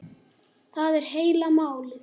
Það er heila málið.